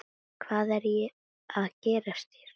Hvað er að gerast hér?